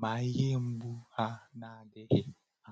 “Ma ihe mgbu ha na-adịghị